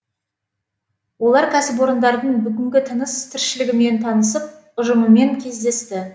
олар кәсіпорындардың бүгінгі тыныс тіршілігімен танысып ұжымымен кездесті